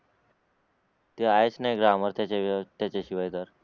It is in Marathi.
ते आहेच नाही ग्रामर त्याच्याशिवाय तर